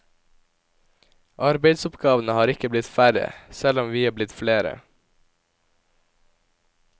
Arbeidsoppgavene har ikke blitt færre, selv om vi har blitt flere.